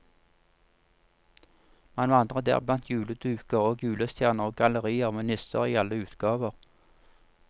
Man vandrer der blant juleduker og julestjerner og gallerier med nisser i alle utgaver.